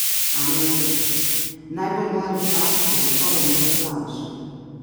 Anja Rupel: "Najbolj nori par sva gotovo midva z Alešem.